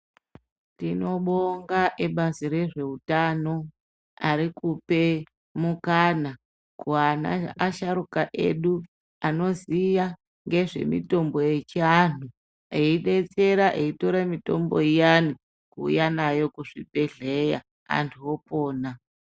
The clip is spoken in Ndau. Tinobonga ebazi rezveutano arikupe mukana kuana asharuka edu anoziya ngezvemitombo yechianhu eidetsera eitora mitombo iyani kuuya nayo kuzvibhedhlera antu opona.